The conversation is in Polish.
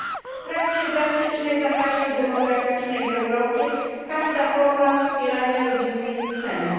W trakcie drastycznej zapaści demograficznej w Europie każda forma wspierania rodziny jest cenna.